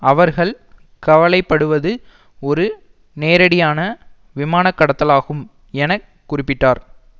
அவர்கள் கவலை படுவது ஒரு நேரடியான விமான கடத்தலாகும் என குறிப்பிட்டார்